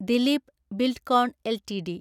Dileep Buildcon LTD